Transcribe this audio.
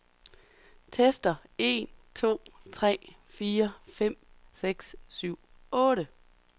Tester en to tre fire fem seks syv otte.